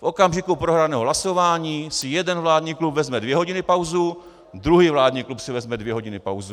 V okamžiku prohraného hlasování si jeden vládní klub vezme dvě hodiny pauzu, druhý vládní klub si vezme dvě hodiny pauzu.